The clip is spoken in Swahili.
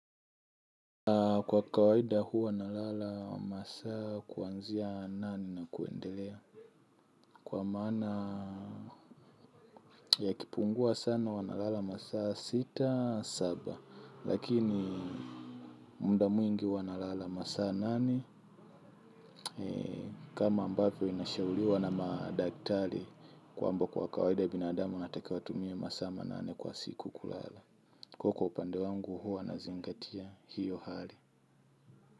Kwa kawaida huwa nalala wa masaa kuanzia nane na kuendelea. Kwa maana yakipungua sana huwa nalala masaa sita, saba, lakini muda mwingi huwa nalala masaa nane. Kama ambapo inashauriwa na madaktali kwamba kwa kawaida binadamu anatakiwa atumie masaa manane kwa siku kulala. Kuwa kwa upande wangu huwa nazingatia hio hali.